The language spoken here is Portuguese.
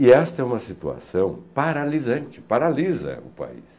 E esta é uma situação paralisante, paralisa o país.